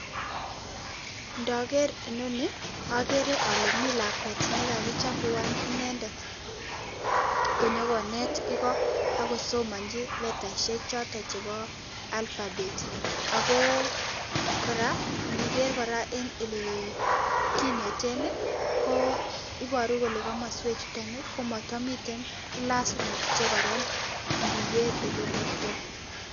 Ndager ino ni, agere ale mii lakwet ne kakichaguan inendet, ko nyokonet iko akosomanchin letaishek chotok chebo alphabet. Ak go, kora , ndiger kora, en ele kiineten, ko iboru kole komaswek chuton, komatamiten classrooms che kararan, ndiger ole iburtoi